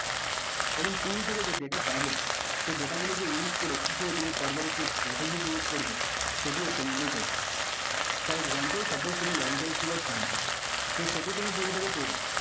এবং tool থেকে যে data পাবে সে data গুলোকে use করে কি করে তুমি further একটি strategy create করবে সেটিও তোমাকেই করতে হবে for example suppose তুমি long term keyword find করছো so সেটি তুমি tool থেকে